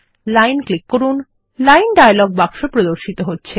line click করুন line dialog বাক্স প্রদর্শিত হচ্ছে